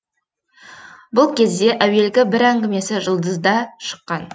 бұл кезде әуелгі бір әңгімесі жұлдызда шыққан